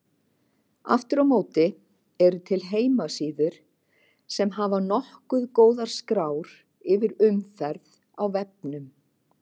Aftur á móti eru til heimasíður sem hafa nokkuð góðar skrár yfir umferð á vefnum.